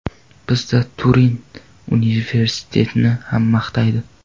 Bizda Turin universitetini hamma maqtaydi.